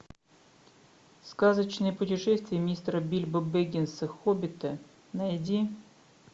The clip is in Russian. сказочное путешествие мистера бильбо беггинса хоббита найди